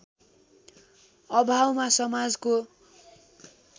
अभावमा समाजको